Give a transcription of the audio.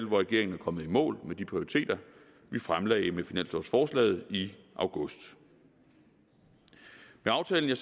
hvor regeringen er kommet i mål med de prioriteter vi fremlagde med finanslovsforslaget i august med aftalen